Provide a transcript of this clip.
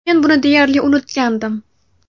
Men buni deyarli unutgandim.